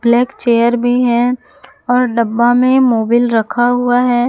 Black chair भी है और डब्बा में मोबिल रखा हुआ है।